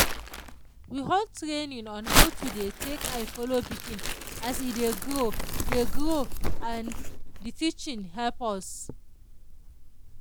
we hold training on how to dey take eye follow pikin as e dey grow dey grow and the teaching help us.